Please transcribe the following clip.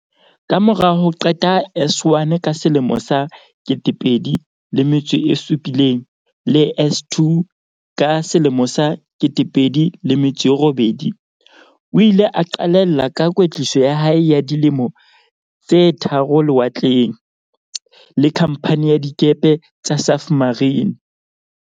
Kamora ho qeta S1 ka 2007 le S2 ka 2008, o ile a qalella ka kwetliso ya hae ya di lemo tse tharo lewatleng, le Khamphani ya Dikepe tsa Safmarine.